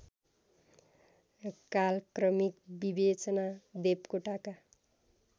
कालक्रमिक विवेचना देवकोटाका